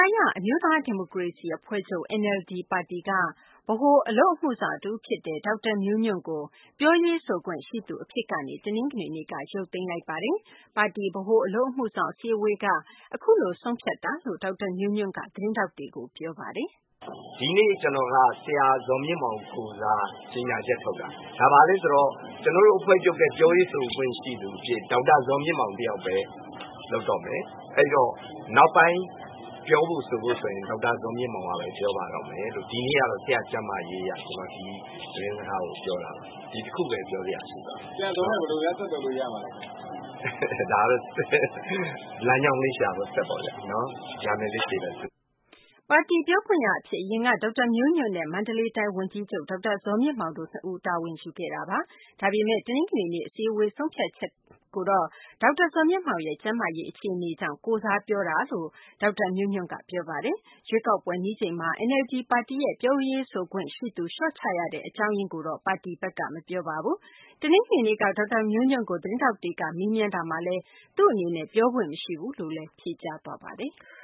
ာရ အမျိုးသားဒီမိုကရေစီအဖွဲ့ချုပ် (NLD) ပါတီက ဗဟိုအလုပ်အမှုဆောင်တဦးဖြစ်တဲ့ ဒေါက်တာမျိုးညွန့်ကို ပြောရေးဆိုခွင့်ရှိသူ အဖြစ်ကနေ တနင်္ဂနွေနေ့က ရုပ်သိမ်းလိုက်ပါတယ်။ ပါတီ ဗဟိုအလုပ်အမှုဆောင် အစည်းအဝေးက အခုလို ဆုံးဖြတ်လိုက်တာလို့ ဒေါက်တာမျိုးညွန့်က သတင်းထောက်တွေကို ပြောဆိုသွားပါတယ်။ “ဒီနေ့ ကျနော်က ဆရာ ဇော်မြင့်အောင် ကိုယ်စား ကြေညာချက်ထုတ်တာ။ ဒါ ဘာလဲဆိုတော့ ကျနော်တို့ အဖွဲ့ချုပ်ရဲ့ ပြောရေးဆိုခွင့်ရှိသူအဖြစ် ဒေါက်တာဇော်မြင့်မောင် တယောက်ပဲ လုပ်တော့မယ်။ အဲဒီတော့ နောက်ပိုင်း ပြောဖို့ဆိုဖို့ဆိုရင် ဒေါက်တာဇော်မြင့်မောင်ကပဲ ပြောပါ့မယ်။ ဒီနေ့ကတော့ ဆရာ့ကျန်းမာရေးအရ ကျနော် ဒီသတင်းစကားကို ပြောတာပါ။ ဒီတခုပဲ ပြောစရာရှိပါတယ်။” ပါတီပြောခွင့်ရအဖြစ် အရင်က ဒေါက်တာမျိုးညွန့်နဲ့ မန္တလေးတိုင်း ဝန်ကြီးချုပ် ဒေါက်တာဇော်မြင့်မောင်တို့ ၂ ဦးက တာဝန်ယူခဲ့တာပါ။ ဒါပေမယ့် တနင်္ဂနွေနေ့ အစည်းအဝေး ဆုံးဖြတ်ချက်ကိုတော့ ဒေါက်တာဇော်မြင့်မောင်ရဲ့ ကျန်းမာရေး အခြေအနေကြောင့် ကိုယ်စားပြောတာသာ ဖြစ်ကြောင်း ဒေါက်တာမျိုးညွန့်က ပြောဆိုသွားပါတယ်။ ရွေးကောက်ပွဲနီးလာချိန်မှာ NLD ပါတီရဲ့ ပြောရေးဆိုခွင့်ရှိသူ လျှော့ချလိုက်တဲ့ အကြောင်းရင်းကိုတော့ ပါတီဘက်က မပြောပါဘူး။ တနင်္ဂနွေနေ့က ဒေါက်တာမျိုးညွန့်ကို သတင်းထောက်တွေက မေးမြန်းကြတာမှာလည်း သူ့အနေနဲ့ ပြောခွင့်မရှိဘူးလို့သာ ဖြေကြားသွားပါတယ်။